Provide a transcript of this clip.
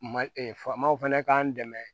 Ma faamaw fɛnɛ k'an dɛmɛ